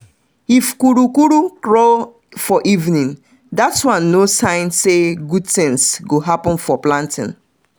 if kukuruku crow for evening that one na sign say good things go happen for planting.